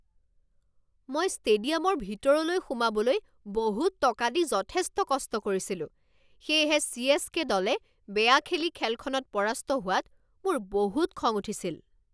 মই ষ্টেডিয়ামৰ ভিতৰলৈ সোমাবলৈ বহুত টকা দি যথেষ্ট কষ্ট কৰিছিলোঁ, সেয়েহে চি.এছ.কে. দলে বেয়া খেলি খেলখনত পৰাস্ত হোৱাত মোৰ বহুত খং উঠিছিল।